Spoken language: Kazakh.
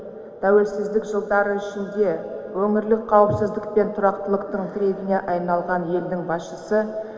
тәуелсіздік жылдары ішінде өңірлік қауіпсіздік пен тұрақтылықтың тірегіне айналған елдің басшысы